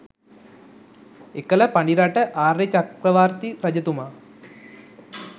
එකල පඬිරට ආර්යචක්‍රවර්ති රජතුමා